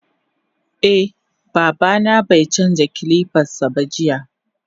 Eh babana baicanja kilipansaba jiya.